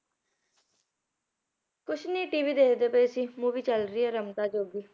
ਕੁਛ ਨੀ TV ਦੇਖਦੇ ਪਏ ਸੀ movie ਚੱਲ ਰਹੀ ਹੈ ਰਮਤਾ ਜੋਗੀ